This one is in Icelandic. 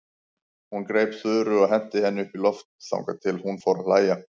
Hún greip Þuru og henti henni upp í loft þangað til hún fór að hlæja.